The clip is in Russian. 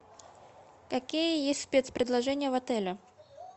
какие есть спецпредложения в отеле